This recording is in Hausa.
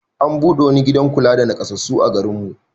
An buɗe wani gidan kula da naƙasassu a garin mu.